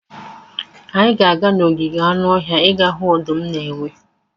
Anyị ga-aga n'ogige anụ ọhịa ịga hụ ọdụm na enwe.